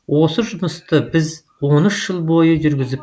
осы жұмысты біз он үш жыл бойы жүргізіп